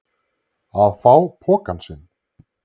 Að fá pokann sinn